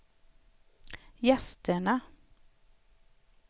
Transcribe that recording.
gästerna